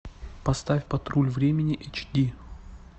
поставь патруль времени эйч ди